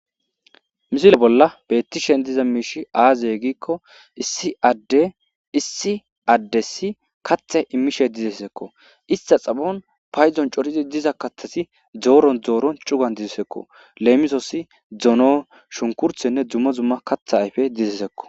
Misile bola betishe diza misha azi giko issi adey issi ades imishe dizaysako ita xaphon paydon coridi diza kathati doron doron cugan dizaysako leemisos dono shukurtnne dumma dumma katha ayfey dizaysako